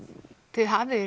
þið hafið